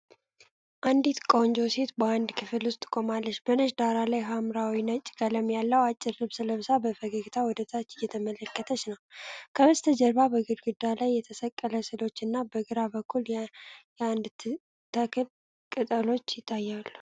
አንዲት ቆንጆ ሴት በአንድ ክፍል ውስጥ ቆማለች። በነጭ ዳራ ላይ ሐምራዊና ነጭ ቀለም ያለው አጭር ልብስ ለብሳ በፈገግታ ወደታች እየተመለከተች ነው። ከበስተጀርባ በግድግዳ ላይ የተሰቀሉ ሥዕሎች እና በግራ በኩል የአንድ ተክል ቅጠሎች ይታያሉ።